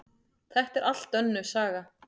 Þetta er allt önnur saga!